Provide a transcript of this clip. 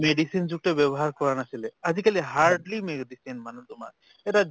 medicine যুক্ত ব্য়ৱহাৰ কৰা নাছিলে। আজি কালি hardly medicine মানে তোমাৰ। এটা